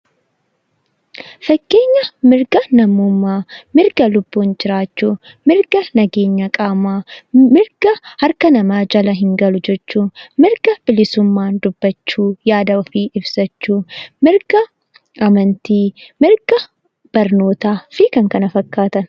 Fakkeenya mirga namummaa, mirga lubbuun jiraachuu, mirga nageenya qaamaa, mirga harka namaa jala hin galu jechuu, mirga bilisummaan dubbachuu, yaada ofii bilisaan ibsachuu, mirga amantii, mirga barnootaa fi kan kana fakkaatan.